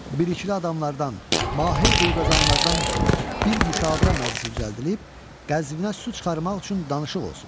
Bİrikliklə adamlar Mahir quyqazanlardan bir müşavirə məclisi düzəldilib, Qəzvinə su çıxarmaq üçün danışıq olsun.